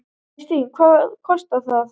Kristín: Hvað kostar það?